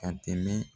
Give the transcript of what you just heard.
Ka tɛmɛ